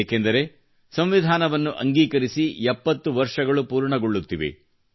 ಏಕೆಂದರೆ ಸಂವಿಧಾನವನ್ನು ಅಂಗೀಕರಿಸಿ 70 ವರ್ಷಗಳು ಪೂರ್ಣಗೊಳ್ಳುತ್ತಿವೆ